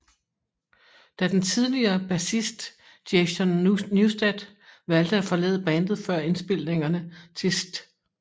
Da den tidligere bassist Jason Newsted valgte at forlade bandet før indspilningerne til St